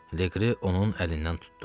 Leqri onun əlindən tutdu.